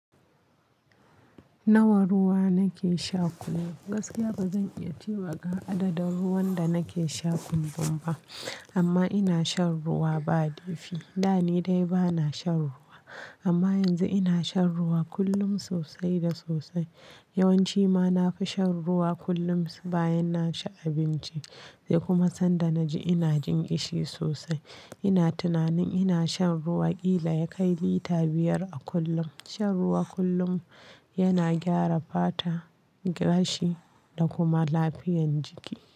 Nawa ruwa nake sha kullum? Gaskiya bazan iya cewa ga adadin ruwan da nake sha kullum ba amma ina shan ruwa ba laifi. Da ne dai bana shan ruwa amma yanzu ina shan ruwa kullum sosai da sosai. Yawanci ma nafi shan ruwa kullum bayan naci abinci sai kuma sanda naji ina jin ƙishi sosai. Ina tunanin ina shan ruwa ƙila ya kai lita biyar a kullum. Shan ruwa kullum yana gyara fata, gashi da kuma lafiyan jiki.